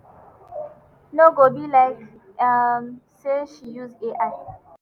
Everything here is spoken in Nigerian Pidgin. no go be like um say she use ai.